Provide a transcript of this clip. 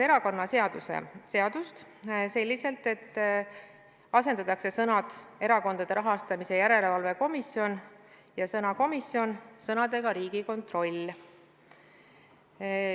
Erakonnaseadust muudetakse selliselt, et asendatakse sõnad "erakondade rahastamise järelevalve komisjon" ja sõna "komisjon" sõnaga "Riigikontroll".